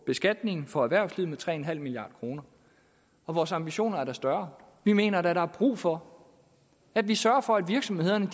beskatningen for erhvervslivet med tre en halv milliard kroner og vores ambitioner er da større vi mener da at der er brug for at vi sørger for at virksomhederne